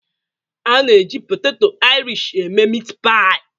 A na-eji poteto irish eme meatpie